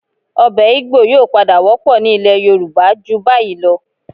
Ọbẹ̀ Igbò yóò padà wọ́pọ̀ ní ilẹ̀ Yorùbá ju báyìí lọ